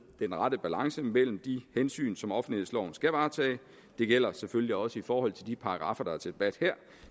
den rette balance mellem de hensyn som offentlighedsloven skal varetage det gælder selvfølgelig også i forhold til de paragraffer der er til debat her